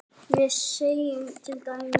við segjum til dæmis